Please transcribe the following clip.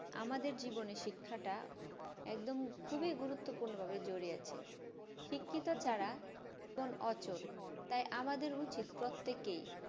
আমাদের জীবনে শিক্ষাটা একদম খুব গুরুপ্তপূর্ণ ভাবে জড়িত আছে শিক্ষিত ছাড়া জীবন অচল তাই আমাদের উচিত প্রত্যেকে